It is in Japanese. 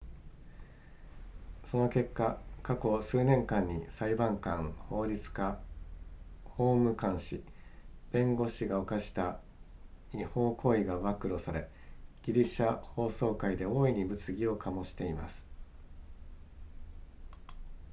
その結果過去数年間に裁判官法律家法務官士弁護士が犯した違法行為が暴露されギリシャ法曹界で大いに物議を醸しています